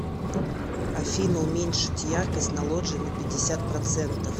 афина уменьшить яркость на лоджии на пятьдесят процентов